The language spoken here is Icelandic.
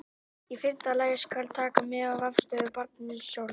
Í fimmta lagi skal taka mið af afstöðu barnsins sjálfs.